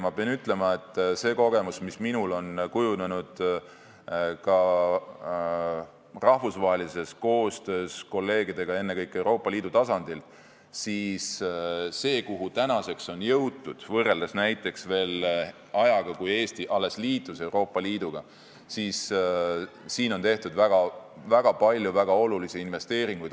Ma pean ütlema, et see kogemus, mis minul on kujunenud ka rahvusvahelises koostöös kolleegidega ennekõike Euroopa Liidu tasandil, on see, et kui vaadata seda, kuhu tänaseks on jõutud, võrreldes ajaga, kui Eesti alles liitus Euroopa Liiduga, siis siin on tehtud väga palju väga olulisi investeeringuid.